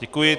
Děkuji.